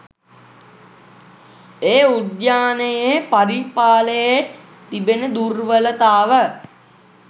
ඒ උද්‍යානයේ පරිපාලයේ තිබෙන දුර්වලතාව